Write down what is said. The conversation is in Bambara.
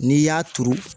N'i y'a turu